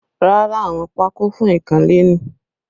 Rárá, àwọn pako fún ikanle ni